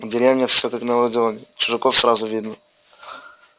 в деревнях все как на ладони чужаков сразу видно